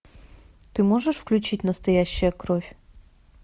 ты можешь включить настоящая кровь